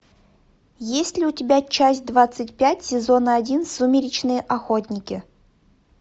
есть ли у тебя часть двадцать пять сезона один сумеречные охотники